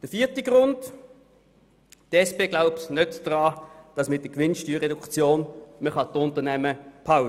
Zum vierten Grund: Die SP glaubt nicht daran, dass man mit der Reduktion der Gewinnsteuer die Unternehmen im Kanton behalten kann.